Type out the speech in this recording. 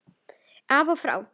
Af og frá.